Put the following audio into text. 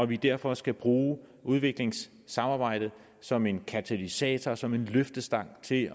vi derfor skal bruge udviklingssamarbejdet som en katalysator som en løftestang til